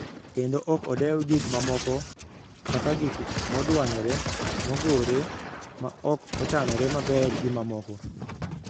kendo ok odew gik mamoko, kaka gik modwanyore, mogore, ma ok ochanore maber, gi mamoko.